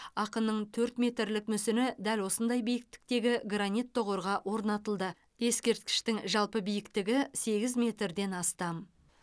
ақынның төрт метрлік мүсіні дәл осындай биіктіктегі гранит тұғырға орнатылды ескерткіштің жалпы биіктігі сегіз метрден астам